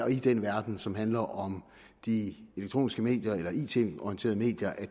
i den verden som handler om de elektroniske medier eller it orienterede medier